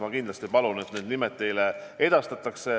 Ma kindlasti palun need nimed teile edastada.